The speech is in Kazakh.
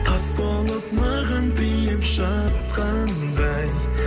тас болып маған тиіп жатқандай